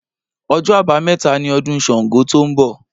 Ọjọ́ abameta ni ọdún Ṣàngó to ń bọ̀